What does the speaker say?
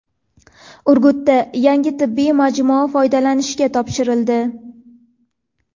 Urgutda yangi tibbiy majmua foydalanishga topshirildi.